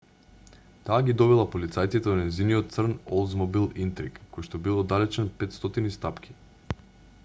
таа ги довела полицајците до нејзиниот црн олдсмобил интриг којшто бил оддалечен 500 стапки